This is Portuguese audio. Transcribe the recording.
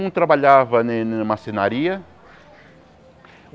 Um trabalhava em em maçonaria.